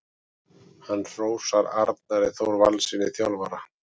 Hann hrósar Arnari Þór Valssyni þjálfara.